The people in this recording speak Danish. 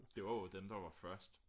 det var jo dem der var først